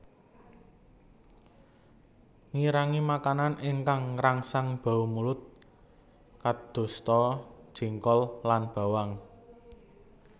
Ngirangi makanan ingkang ngrangsang bau mulut kadosta jengkol lan bawang